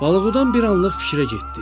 Balıqdan bir anlıq fikrə getdi.